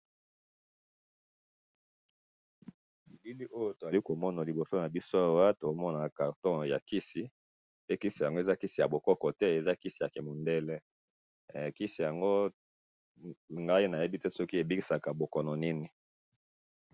Na moni kisi ya mindele yya kobikisa bokono songolo.